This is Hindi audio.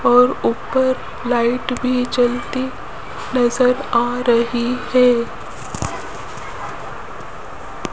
और ऊपर लाइट भी जलती नजर आ रही है।